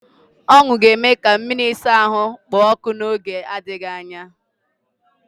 Ọṅụ ga-eme ka mmiri ịsa ahụ kpoo ọkụ n'oge na-adịghị anya.